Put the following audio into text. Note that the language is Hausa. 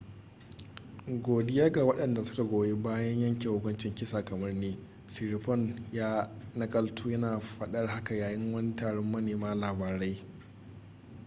godiya ga wadanda suka goyi bayan yanke hukuncin kisa kamar ni,”siriporn ya nakalto yana fadar haka yayin wani taron manema labarai